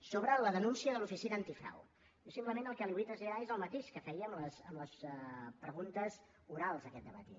sobre la denúncia de l’oficina antifrau simplement el que li vull traslladar és el mateix que feia amb les preguntes orals aquest dematí